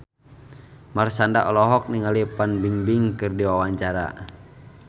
Marshanda olohok ningali Fan Bingbing keur diwawancara